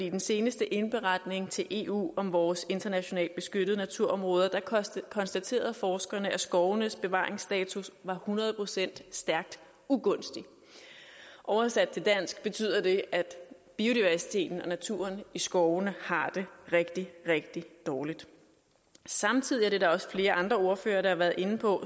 i den seneste indberetning til eu om vores internationalt beskyttede naturområder konstaterede forskerne at skovenes bevaringsstatus var hundrede procent stærkt ugunstig oversat til dansk betyder det at biodiversiteten og naturen i skovene har det rigtig rigtig dårligt samtidig og det er der også flere andre ordførere der har været inde på